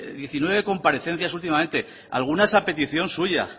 diecinueve comparecencias últimamente algunas a petición suya